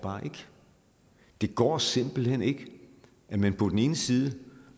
det går simpelt hen ikke at man på den ene side